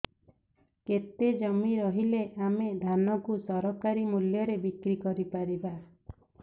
କେତେ ଜମି ରହିଲେ ଆମେ ଧାନ କୁ ସରକାରୀ ମୂଲ୍ଯରେ ବିକ୍ରି କରିପାରିବା